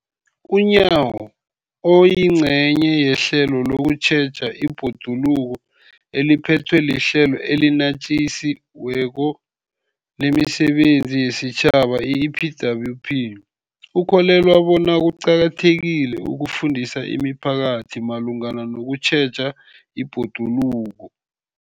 UNyawo, oyingcenye yehlelo lokutjheja ibhoduluko eliphethwe liHlelo eliNatjisi weko lemiSebenzi yesiTjhaba, i-EPWP, ukholelwa bona kuqakathekile ukufundisa imiphakathi malungana nokutjheja ibhoduluko.